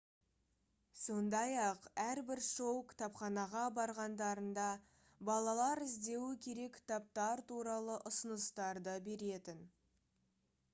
сондай-ақ әрбір шоу кітапханаға барғандарында балалар іздеуі керек кітаптар туралы ұсыныстарды беретін